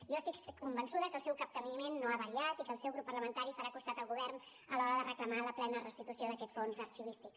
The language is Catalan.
jo estic convençuda que el seu capteniment no ha variat i que el seu grup parlamentari farà costat al govern a l’hora de reclamar la plena restitució d’aquest fons arxivístic